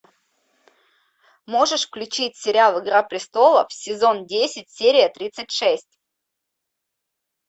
можешь включить сериал игра престолов сезон десять серия тридцать шесть